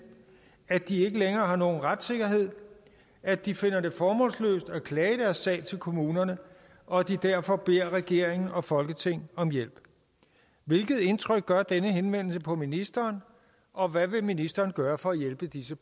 at de ikke længere har nogen retssikkerhed at de finder det formålsløst at klage deres sag til kommunerne og at de derfor beder regeringen og folketinget om hjælp hvilket indtryk gør denne henvendelse på ministeren og hvad vil ministeren gøre for at hjælpe disse